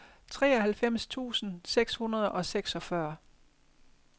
treoghalvfems tusind seks hundrede og seksogfyrre